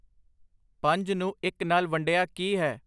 ਪੰਜ ਨੂੰ ਇੱਕ ਨਾਲ ਵੰਡਿਆ ਕੀ ਹੈ